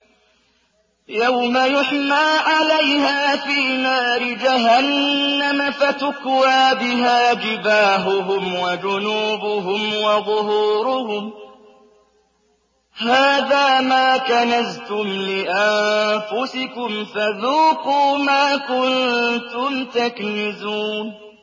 يَوْمَ يُحْمَىٰ عَلَيْهَا فِي نَارِ جَهَنَّمَ فَتُكْوَىٰ بِهَا جِبَاهُهُمْ وَجُنُوبُهُمْ وَظُهُورُهُمْ ۖ هَٰذَا مَا كَنَزْتُمْ لِأَنفُسِكُمْ فَذُوقُوا مَا كُنتُمْ تَكْنِزُونَ